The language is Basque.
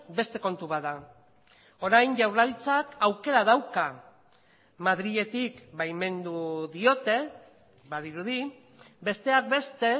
beste kontu bat da orain jaurlaritzak aukera dauka madriletik baimendu diote badirudi besteak beste